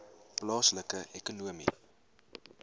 plaaslike ekonomiese